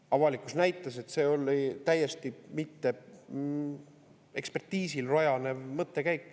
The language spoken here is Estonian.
Avalikkus näitas, et see oli täiesti mitte ekspertiisil rajanev mõttekäik.